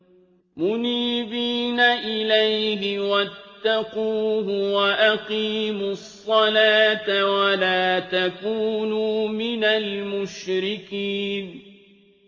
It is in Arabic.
۞ مُنِيبِينَ إِلَيْهِ وَاتَّقُوهُ وَأَقِيمُوا الصَّلَاةَ وَلَا تَكُونُوا مِنَ الْمُشْرِكِينَ